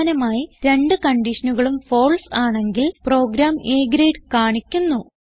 അവസാനമായി രണ്ട് കൺഡിഷനുകളും ഫാൽസെ ആണെങ്കിൽ പ്രോഗ്രാം A ഗ്രേഡ് കാണിക്കുന്നു